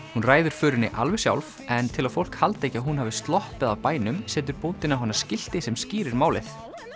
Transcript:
hún ræður förinni alveg sjálf en til að fólk haldi ekki að hún hafi sloppið af bænum setur bóndinn á hana skilti sem skýrir málið